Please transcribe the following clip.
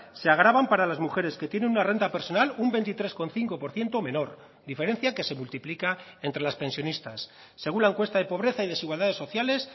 se agravan para las mujeres que tienen una renta personal un veintitrés coma cinco por ciento menor diferencia que se multiplica entre las pensionistas según la encuesta de pobreza y desigualdades sociales